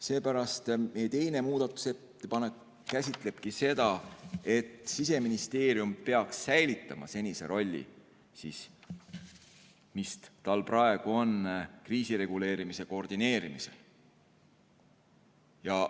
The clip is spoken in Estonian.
Seepärast meie teine muudatusettepanek käsitlebki seda, et Siseministeerium peaks säilitama senise rolli, mis tal praegu on kriisireguleerimise koordineerimisel.